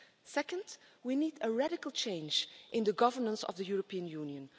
Second, we need a radical change in the governance of the European Union.